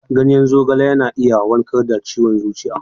Ganyen zogala na iya warkar da ciwon zuciya.